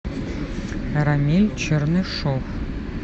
рамиль чернышов